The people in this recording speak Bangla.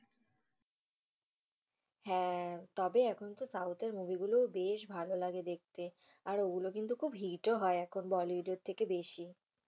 হ্যা, তবে এখন তো south এর movie গুলো বেস ভালোলাগে দেখতে। আর ওগুলো কিন্তু খুব hit ও হয় এখন bollywood এর থেকে বেশি।